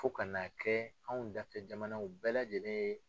Fo kana a kɛ anw dafɛ jamanaw bɛɛ lajɛlen ye